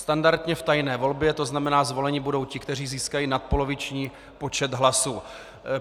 Standardně v tajné volbě, to znamená, zvoleni budou ti, kteří získají nadpoloviční počet hlasů.